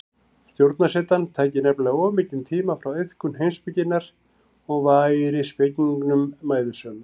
Stjórnarsetan tæki nefnilega of mikinn tíma frá iðkun heimspekinnar og væri spekingnum mæðusöm.